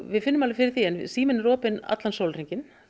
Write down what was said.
við finnum alveg fyrir því síminn er opinn allan sólarhringinn